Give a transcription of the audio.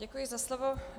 Děkuji za slovo.